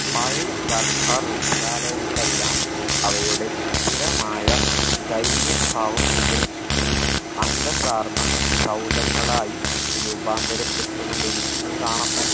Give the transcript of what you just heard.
പഴയ സർക്കാർ വിദ്യാലയങ്ങളെല്ലാം അവയുടെ സ്ഥിരമായ ദൈന്യ ഭാവം ഉപേക്ഷിച്ചു അന്തസ്സാർന്ന സൗധങ്ങളായി രൂപാന്തരപ്പെട്ട് കൊണ്ടിരിക്കുന്നത് കാണാം